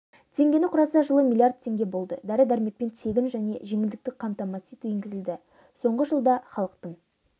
теңгені құраса жылы млрд теңге болды дәрі-дәрмекпен тегін және жеңілдікті қамтамасыз ету енгізілді соңғы жылда халықтың